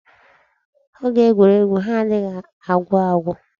Oge egwuregwu ha adịghị agwụ agwụ.